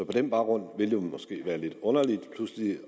på den baggrund ville det måske være lidt underligt pludselig